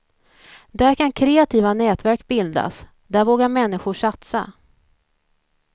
Där kan kreativa nätverk bildas, där vågar människor satsa.